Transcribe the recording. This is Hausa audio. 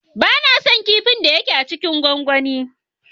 Ba na son kipin da ya ke a kipin gwangwani.